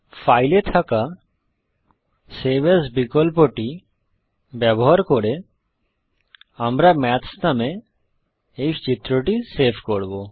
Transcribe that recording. file এ থাকা save as বিকল্পটি ব্যবহার করে আমরা মেথ্স নামে এই চিত্রটি সেভ করব